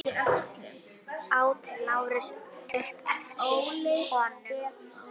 át Lárus upp eftir honum.